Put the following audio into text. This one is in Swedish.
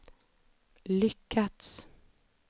lyckats